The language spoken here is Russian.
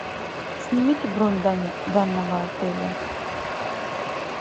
снимите бронь данного отеля